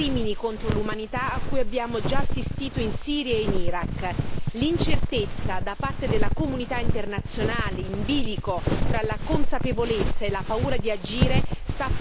L'incertezza da parte della comunità internazionale, in bilico tra la consapevolezza e la paura di agire, sta paradossalmente alimentando gli estremisti del Mediterraneo.